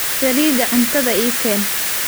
Saliida cuntada ii keen.